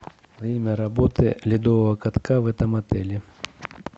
время работы ледового катка в этом отеле